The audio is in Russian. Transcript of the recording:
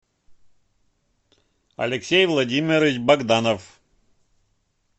алексей владимирович богданов